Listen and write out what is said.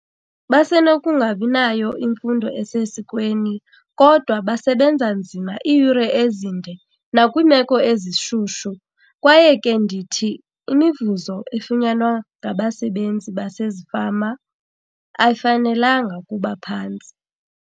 Basenokungabi nayo imfundo esesikweni kodwa basebenza nzima iiyure ezinde nakwiimeko ezishushu. Kwaye ke ndithi imivuzo efunyanwa ngabasebenzi basezifama ayifanelanga ukuba phantsi.